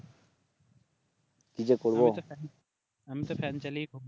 আমি তো ফ্যান চালিয়ে ঘুমায়